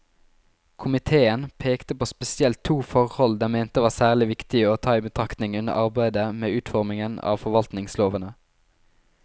Komiteen pekte på spesielt to forhold den mente var særlig viktig å ta i betraktning under arbeidet med utformingen av forvaltningslovene.